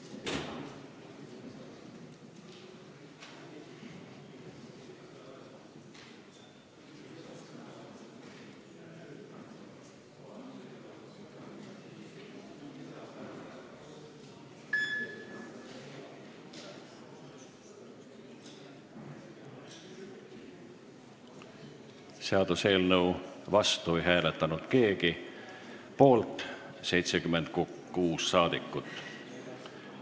Hääletustulemused Seaduseelnõu vastu ei hääletanud keegi, poolt on 76 rahvasaadikut.